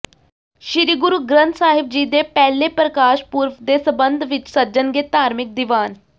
ਸ੍ਰੀ ਗੁਰੂ ਗ੍ਰੰਥ ਸਾਹਿਬ ਜੀ ਦੇ ਪਹਿਲੇ ਪ੍ਰਕਾਸ਼ ਪੁਰਬ ਦੇ ਸਬੰਧ ਵਿੱਚ ਸੱਜਣਗੇ ਧਾਰਮਿਕ ਦੀਵਾਨ